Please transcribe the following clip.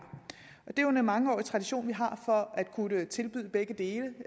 jo en mangeårig tradition for at kunne tilbyde begge dele